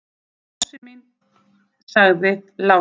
Rósin mín, sagði Lási.